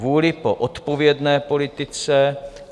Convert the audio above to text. Vůli po odpovědné politice.